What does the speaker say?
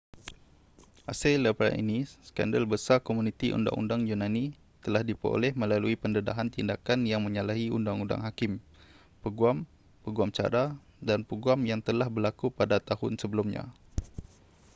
hasil daripada ini skandal besar komuniti undang-undang yunani telah diperoleh melalui pendedahan tindakan yang menyalahi undang-undang hakim peguam peguam cara dan peguam yang telah berlaku pada tahun sebelumnya